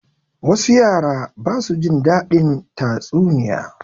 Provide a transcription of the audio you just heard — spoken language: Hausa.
Wasu yara ba su jin daɗin tatsuniya.